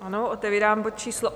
Ano, otevírám bod číslo